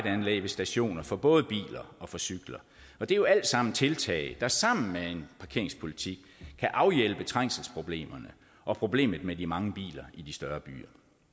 anlæg ved stationer for både biler og cykler det er jo alt sammen tiltag der sammen med en parkeringspolitik kan afhjælpe trængselsproblemerne og problemet med de mange biler i de større byer